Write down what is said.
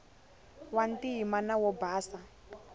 wa ntima na wo basa